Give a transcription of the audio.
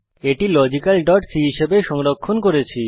এটি logicalসি হিসাবে সংরক্ষিত করেছি